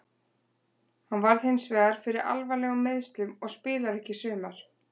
Hann varð hinsvegar fyrir alvarlegum meiðslum og spilar ekki í sumar.